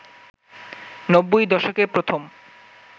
নব্বই দশকে প্রথম